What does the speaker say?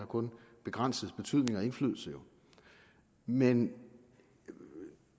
kun begrænset betydning og indflydelse men